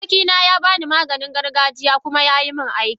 Abokina ya bani Maganin gargajiya kuma yayi mun aiki.